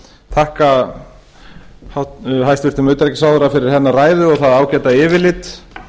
þakka hæstvirtum utanríkisráðherra fyrir hennar ræðu og það ágæta yfirlit